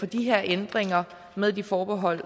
de her ændringer med de forbehold